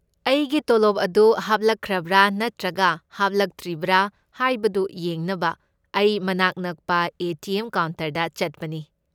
ꯑꯩꯒꯤ ꯇꯣꯂꯣꯕ ꯑꯗꯨ ꯍꯥꯞꯂꯛꯈ꯭ꯔꯕ ꯅꯠꯇ꯭ꯔꯒ ꯍꯥꯞꯂꯛꯇ꯭ꯔꯤꯕ ꯍꯥꯏꯕꯗꯨ ꯌꯦꯡꯅꯕ ꯑꯩ ꯃꯅꯥꯛ ꯅꯛꯄ ꯑꯦ. ꯇꯤ. ꯑꯦꯝ. ꯀꯥꯎꯟꯇꯔꯗ ꯆꯠꯄꯅꯤ꯫